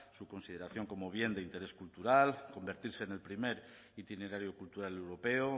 su consideración como bien de interés cultural convertirse en el primer itinerario cultural europeo